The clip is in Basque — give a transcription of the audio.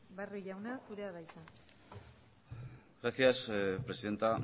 barrio jauna zurea da hitza gracias presidenta